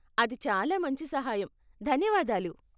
అది చాలా మంచి సహాయం, ధన్యవాదాలు.